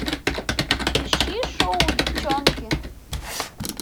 ищи шоу девчонки